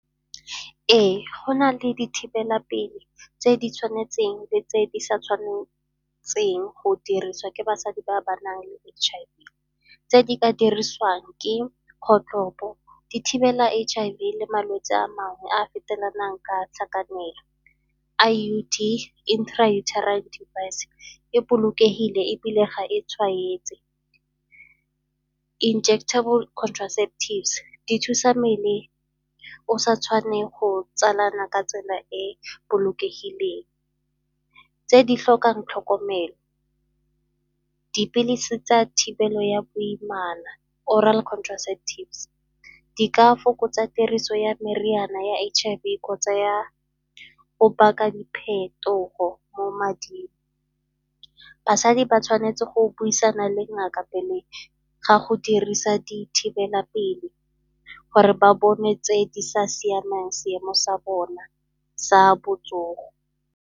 Ee, go na le dithibelapele tse di tshwanetseng le tse di sa tshwanetseng go dirisiwa ke basadi ba ba nang le H_I_V tse di ka dirisiwang ke kgotlhopo di thibela H_I_V le malwetsi a mangwe a a fetelang ka tlhakanelo. I_U_D, Intrauterine device e bolokegile ebile ga e tshwanetse. Injectable contraceptives, di thusa mmele o sa tshwane go tsalana ka tsela e bolokegileng. Tse di tlhokang tlhokomelo, dipilisi tsa thibelo ya boimana oral contraceptives di ka fokotsa tiriso ya meriana ya H_I_V kgotsa ya o baka diphetogo mo mading. Basadi ba tshwanetse go buisana le ngaka pele ga go dirisa dithibelapele gore ba bone tse di sa siamang seemo sa bona sa botsogo.